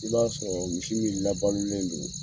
I b'a sɔrɔ misi min labalolen don